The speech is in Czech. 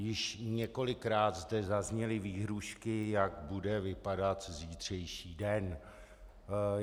Již několikrát zde zazněly výhrůžky, jak bude vypadat zítřejší den.